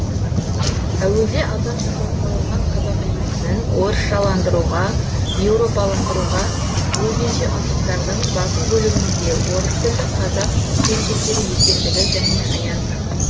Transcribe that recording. әуелде азан шақырып қойылған қазақы есімін орысшаландыруға еуропаландыруға өлгенше ынтықтардың басым бөлігінің де орыстілді қазақ қыз келіншектері екендігі және аян